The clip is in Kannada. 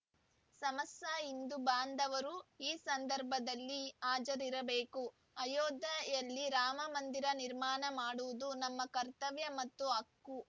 ಸಮಸ ಹಿಂದೂ ಬಾಂಧವರು ಈ ಸಂದರ್ಭದಲ್ಲಿ ಹಾಜರಿರಬೇಕು ಅಯೋಧ್ಯೆಯಲ್ಲಿ ರಾಮ ಮಂದಿರ ನಿರ್ಮಾಣ ಮಾಡುವುದು ನಮ್ಮ ಕರ್ತವ್ಯ ಮತ್ತು ಹಕ್ಕು